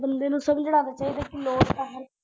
ਬੰਦੇ ਨੂੰ ਸਮਝਣਾ ਵੀ ਚਾਹੀਦਾ ਕਿ ਲੋੜ ਤਾਂ ਹੈ।